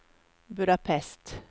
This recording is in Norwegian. Budapest